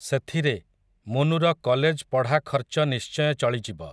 ସେଥିରେ, ମୁନୁର କଲେଜ୍ ପଢ଼ା ଖର୍ଚ୍ଚ ନିଶ୍ଚୟ ଚଳିଯିବ ।